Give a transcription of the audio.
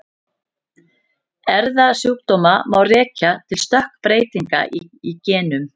Erfðasjúkdóma má rekja til stökkbreytinga í genum.